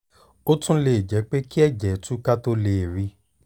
ó tún lè jẹ́ pé kí ẹ̀jẹ̀ tú ká tó lè rí i